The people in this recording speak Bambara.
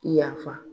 Yafa